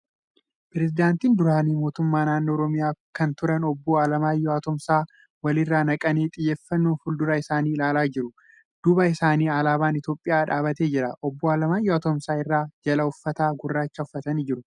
Pireezidaantiin duraanii mootummaa naannoo Oromiyaa kan turen obbo Alamaayyoo Atoomsaa wal irra naqanii xiyyeeffannoon fuuldura isaanii ilaalaa jieu. Duuba isaanii alaabaan Itiyoophiyaa dhaabbatee jiru. Obbo Alamaayyoo Atoomsaa irraa jala uffata gurraacha uffatanii jiru.